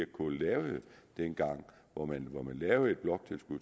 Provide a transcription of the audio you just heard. k lavede dengang hvor man lavede et bloktilskud